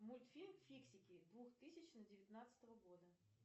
мультфильм фиксики две тысячи девятнадцатого года